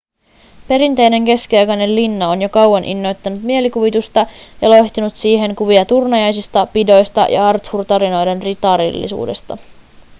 perinteinen keskiaikainen linna on jo kauan innoittanut mielikuvitusta ja loihtinut siihen kuvia turnajaisista ‎pidoista ja arthur-tarinoiden ritarillisuudesta.‎